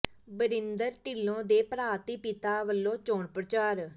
ਬਰਿੰਦਰ ਢਿੱਲੋਂ ਦੇ ਭਰਾ ਤੇ ਪਿਤਾ ਵੱਲੋਂ ਚੋਣ ਪ੍ਰਚਾਰ